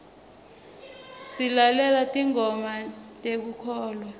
silalela tingoma tekukholwa